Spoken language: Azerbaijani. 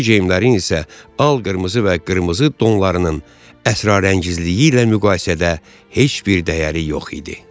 Bu geyimlərin isə al-qırmızı və qırmızı donlarının əsrarəngizliyi ilə müqayisədə heç bir dəyəri yox idi.